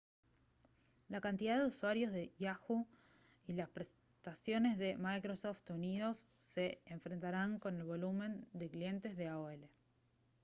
la cantidad de usuarios de yahoo y las prestaciones de microsoft unidos se enfrentarán con el volumen de clientes de aol